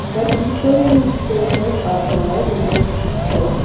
The peoples faces are blurred in this picture.